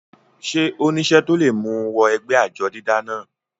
ṣé ó nísẹ́ tó le mú u wọ ẹgbẹ́ àjọ dídá náà?